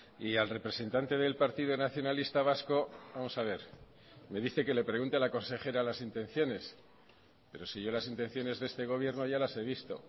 y al representante del partido nacionalista vasco vamos a ver me dice que le pregunte a la consejera las intenciones pero si yo las intenciones de este gobierno ya las he visto